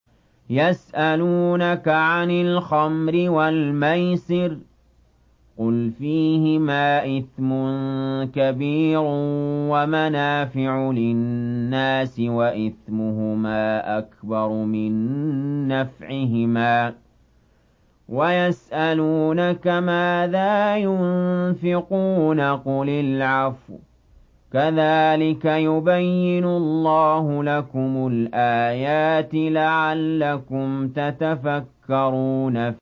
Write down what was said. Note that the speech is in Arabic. ۞ يَسْأَلُونَكَ عَنِ الْخَمْرِ وَالْمَيْسِرِ ۖ قُلْ فِيهِمَا إِثْمٌ كَبِيرٌ وَمَنَافِعُ لِلنَّاسِ وَإِثْمُهُمَا أَكْبَرُ مِن نَّفْعِهِمَا ۗ وَيَسْأَلُونَكَ مَاذَا يُنفِقُونَ قُلِ الْعَفْوَ ۗ كَذَٰلِكَ يُبَيِّنُ اللَّهُ لَكُمُ الْآيَاتِ لَعَلَّكُمْ تَتَفَكَّرُونَ